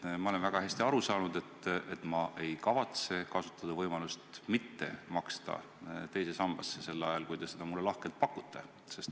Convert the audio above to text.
Ma olen asjast väga hästi aru saanud, ma ei kavatse kasutada võimalust mitte maksta teise sambasse, sel ajal kui te seda mulle lahkelt pakute.